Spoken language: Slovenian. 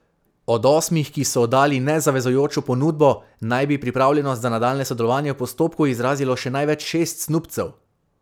Od osmih, ki so oddali nezavezujočo ponudbo, naj bi pripravljenost za nadaljnje sodelovanje v postopku izrazilo še največ šest snubcev.